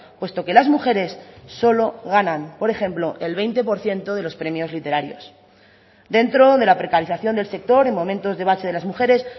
puesto que las mujeres solo ganan por ejemplo el veinte por ciento de los premios literarios dentro de la precarización del sector en momentos de bache de las mujeres